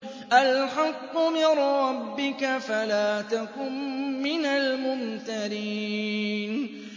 الْحَقُّ مِن رَّبِّكَ فَلَا تَكُن مِّنَ الْمُمْتَرِينَ